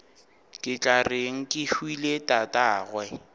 ke tla reng kehwile tatagwe